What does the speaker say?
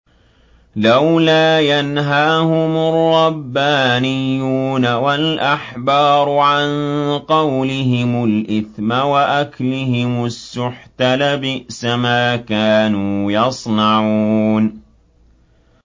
لَوْلَا يَنْهَاهُمُ الرَّبَّانِيُّونَ وَالْأَحْبَارُ عَن قَوْلِهِمُ الْإِثْمَ وَأَكْلِهِمُ السُّحْتَ ۚ لَبِئْسَ مَا كَانُوا يَصْنَعُونَ